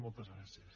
moltes gràcies